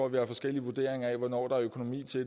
at vi har forskellige vurderinger af hvornår der er økonomi til